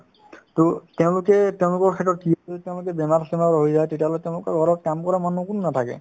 to তেওঁলোকে ~ তেওঁলোকৰ ক্ষেত্ৰত কি হয় তেওঁলোকে বেমাৰ-চেমাৰ হৈ যায় তেতিয়াহ'লে তেওঁলোকৰ ঘৰত কাম কৰা মানুহ কোনো নাথাকে